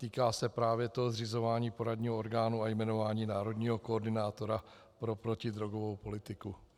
Týká se právě toho zřizování poradního orgánu a jmenování národního koordinátora pro protidrogovou politiku.